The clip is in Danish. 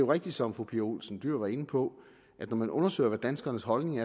rigtigt som fru pia olsen dyhr var inde på at når man undersøger hvad danskernes holdning